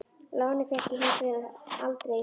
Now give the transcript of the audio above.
Lánið fékk ég hins vegar aldrei.